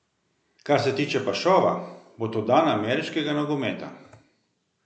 Kar se tiče pa šova, bo to dan ameriškega nogometa.